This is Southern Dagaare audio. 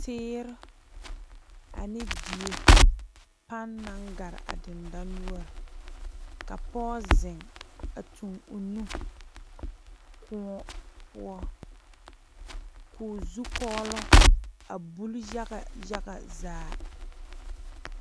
Teere ane die pane naŋ gare a dandonoɔre ka pɔge zeŋ a tuŋ o nu kõɔ poɔ ko'o zukɔlo a buli yaga yaga zaa.